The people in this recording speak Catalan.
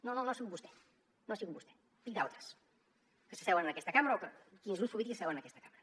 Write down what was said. no no no ha sigut vostè no ha sigut vostè dic d’altres que s’asseuen en aquesta cambra grups polítics que s’asseuen en aquesta cambra